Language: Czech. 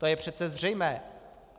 To je přece zřejmé.